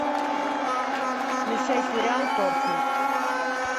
включай сериал торчвуд